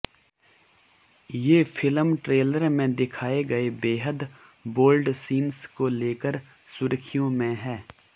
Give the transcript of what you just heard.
ये film trailer में दिखाए गए बेहद बोल्ड सीन्स को लेकर सुर्खियों में है